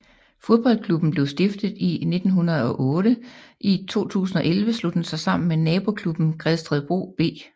Fodboldklubben blev stiftet i 1908 i 2011 slog den sig sammen med nabo klubben Gredstedbro B